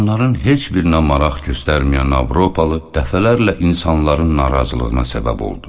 Bunların heç birinə maraq göstərməyən Avropalı dəfələrlə insanların narazılığına səbəb oldu.